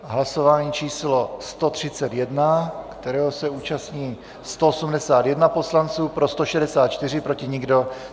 Hlasování číslo 131, kterého se účastní 181 poslanců, pro 164, proti nikdo.